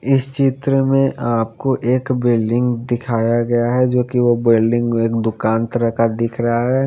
इस चित्र में आपको एक बिल्डिंग दिखाया गया है जोकि वो बिल्डिंग एक दुकान तरह का दिख रहा है।